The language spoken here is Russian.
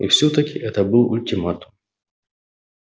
и всё-таки это был ультиматум